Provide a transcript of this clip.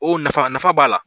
O nafa nafa b'a la